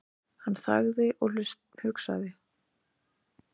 Hann þagði og hugsaði.